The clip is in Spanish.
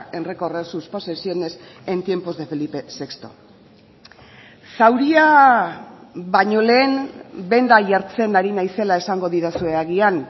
en recorrer sus posesiones en tiempos de felipe sexto zauria baino lehen benda jartzen ari naizela esango didazue agian